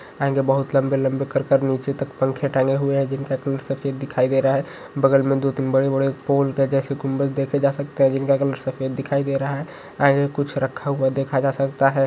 आगे बहुत लंबे-लंबे कर कर नीचे तक पंख टंगे हुए हैं जिनका कुल सफेद दिखाई दे रहा है बगल में दो तीन बड़े-बड़े पोल के जैसे गुंबद देखे जा सकते हैं जिनका कलर सफेद दिखाई दे रहा है आगे कुछ रखा हुआ देखा जा साकता हे।